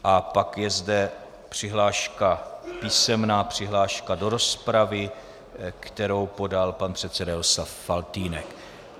A pak je zde písemná přihláška do rozpravy, kterou podal pan předseda Jaroslav Faltýnek.